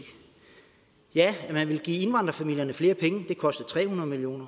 ja man ville give indvandrerfamilierne flere penge og det kostede tre hundrede million